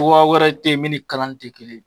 Togoya wɛrɛ ten ye min ni kanani te kelen